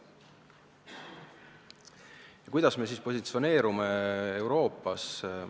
Ja kuidas me positsioneerume Euroopas?